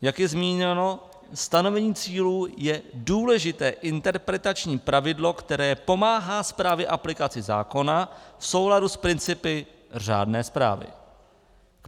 Jak je zmíněno, stanovení cílů je důležité interpretační pravidlo, které pomáhá správné aplikaci zákona v souladu s principy řádné správy.